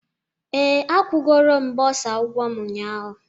Ee, akwụgoro m bursar ụgwọ m ụnyahụ